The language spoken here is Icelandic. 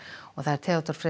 Theodór Freyr